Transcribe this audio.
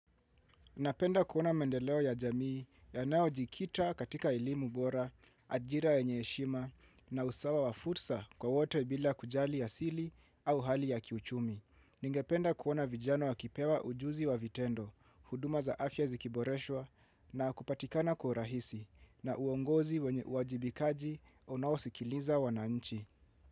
Napenda kuona mendeleo ya jamii yanayo jikita katika elimu bora, ajira yenye heshima na usawa wa fursa kwa wote bila kujali a sili au hali ya kiuchumi. Ninge penda kuona vijana wa kipewa ujuzi wa vitendo, huduma za afya zikiboreshwa na kupatikana kwa ruahisi na uongozi wenye uwajibikaji unaosikiliza wananchi.